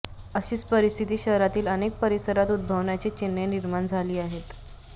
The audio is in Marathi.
अशीच परिस्थिती शहरातील अनेक परिसरात उद्भवण्याची चिन्हे निर्माण झाली आहेत